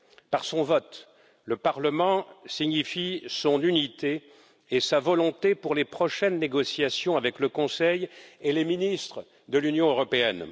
Par son vote, le Parlement signifie son unité et sa volonté pour les prochaines négociations avec le Conseil et les ministres de l'Union européenne.